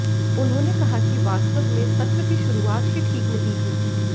उन्होंने कहा कि वास्तव में सत्र की शुरुआत ही ठीक नहीं हुई